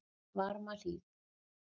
Varmahlíð